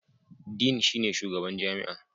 Dean shine shugaban jami'a.